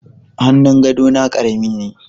Hannun gadona karami ne